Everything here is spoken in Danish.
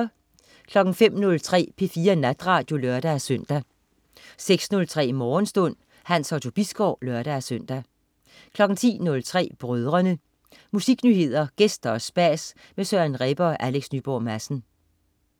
05.03 P4 Natradio (lør-søn) 06.03 Morgenstund. Hans Otto Bisgaard (lør-søn) 10.03 Brødrene. Musiknyheder, gæster og spas med Søren Rebbe og Alex Nyborg Madsen